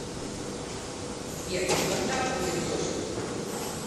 сбер когда будет дождь